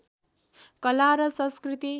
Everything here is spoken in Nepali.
कला र संस्कृति